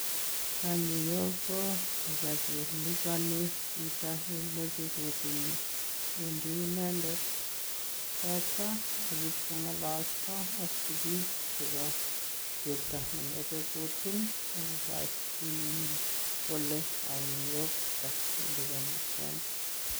Kanyiok ko tuga che liboni chito ye moche kotunis, wendi inendet koito ak ibkong'ololso ak sigik chebo chepto ne moche kotun ak kogashin kole ata che liponi